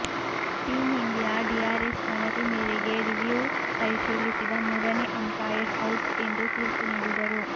team India DRS ಮನವಿ ಮೇರೆಗೆ review ಪರಿಶೀಲಿಸಿದ ಮೂರನೇ ಅಂಪೈರ್ ಔಟ್ ಎಂದು ತೀರ್ಪು ನೀಡಿದರು